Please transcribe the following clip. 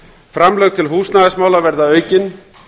framlög til húsnæðismála verða aukin